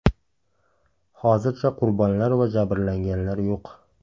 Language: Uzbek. Hozircha qurbonlar va jabrlanganlar yo‘q.